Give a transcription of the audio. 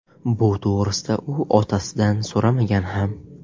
Bu to‘g‘risida u otasidan so‘ramagan ham.